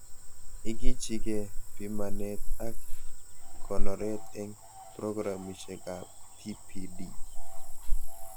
Ikichikee pimanet ak konoret eng programishekab TPD